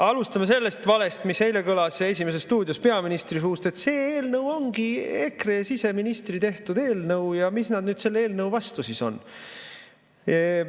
Alustame sellest valest, mis eile kõlas "Esimeses stuudios" peaministri suust, et see eelnõu ongi EKRE siseministri tehtud eelnõu ja miks nad nüüd selle eelnõu vastu siis on.